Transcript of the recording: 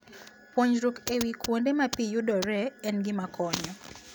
Puonjruok e wi kuonde ma pi yudoree en gima konyo.